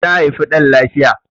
ta haifi dan lafiya